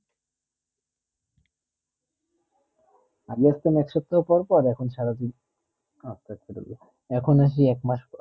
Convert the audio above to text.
আগে যাইতাম এক সফ্তাহ পর পর এখন সারা দিন এখন আসি এক মাস